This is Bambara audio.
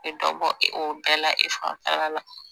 E dɔ bɔ e bɛɛ la e fanfɛla la